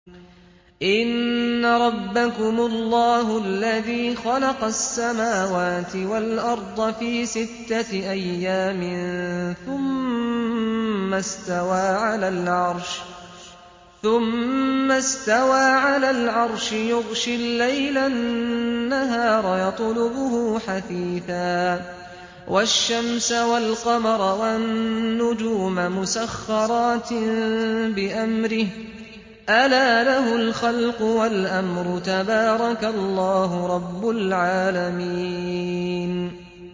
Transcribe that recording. إِنَّ رَبَّكُمُ اللَّهُ الَّذِي خَلَقَ السَّمَاوَاتِ وَالْأَرْضَ فِي سِتَّةِ أَيَّامٍ ثُمَّ اسْتَوَىٰ عَلَى الْعَرْشِ يُغْشِي اللَّيْلَ النَّهَارَ يَطْلُبُهُ حَثِيثًا وَالشَّمْسَ وَالْقَمَرَ وَالنُّجُومَ مُسَخَّرَاتٍ بِأَمْرِهِ ۗ أَلَا لَهُ الْخَلْقُ وَالْأَمْرُ ۗ تَبَارَكَ اللَّهُ رَبُّ الْعَالَمِينَ